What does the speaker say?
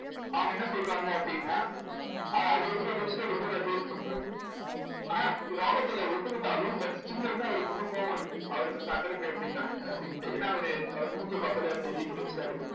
அவங்க என்ன சொல்றாங்க அப்படின்னா ஆஹ் அதுக்கப்புறம் rich dad இன்னொரு advice பண்றாரு ஆனா இது ராபர்ட் இதை ஒத்துக்கிட்டாலும் but அவருக்கு இன்னும் கோவம் இருக்கு அவருக்கு வந்து under pay பண்ணிட்டாங்க ஏன்னா அவரு அவரு மூஞ்சியை பார்த்தாலே அவருக்கு தெரியுது rich dad க்கு